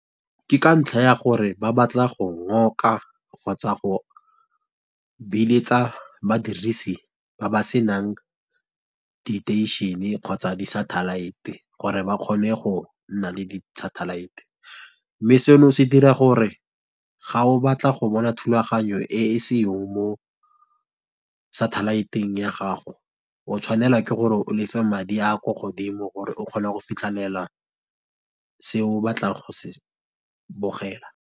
Ke ka ntlha ya gore ba batla go ngoka, kgotsa go beeletsa badirisi ba ba se nang diteišene, kgotsa di-satellite-e, gore ba kgone go nna le satellite-e. Mme seno se dira gore ga o batla go bona thulaganyo e e senyong mo satellite-eng ya gago, o tshwanela ke gore o lefe madi a ko godimo gore o kgona go fitlhelela, se o batlang go se bogela.